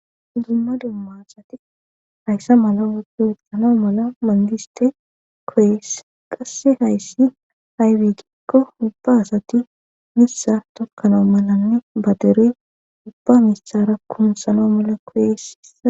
Dumma dumma asati hayssa mala wodi woxxano mala mandiste koyes qasse hayssi haybiigikko ubba asati missa tokkano malanne badere ubba misara kumsano mala koyesia.